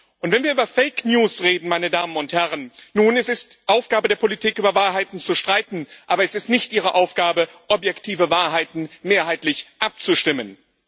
Und wenn wir über fake news reden Nun, es ist Aufgabe der Politik, über Wahrheiten zu streiten, aber es ist nicht ihre Aufgabe, objektive Wahrheiten mehrheitlich abzustimmen.